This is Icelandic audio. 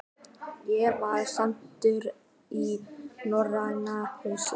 Ég var sendur í Norræna húsið.